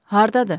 Hardadır?